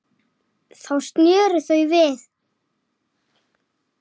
Lítill, svartur bíll.